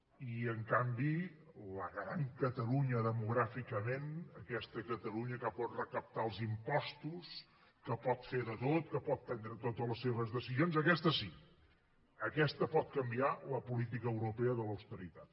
i en canvi la gran catalunya demogràficament aquesta catalunya que pot recaptar els impostos que pot fer de tot que pot prendre totes les seves decisions aquesta sí aquesta pot canviar la política europea de l’austeritat